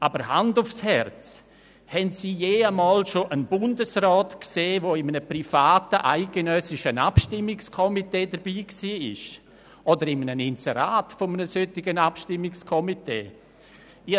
Aber Hand aufs Herz: Haben Sie jemals einen Bundesrat gesehen, der in einem privaten Abstimmungskomitee zu einer eidgenössischen Vorlage mitgemacht hat oder der auf einem Inserat eines solchen Komitees zu sehen war?